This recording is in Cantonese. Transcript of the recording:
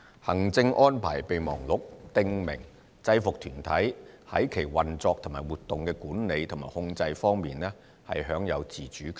行政安排備忘錄訂明制服團體在其運作及活動的管理和控制方面享有自主權。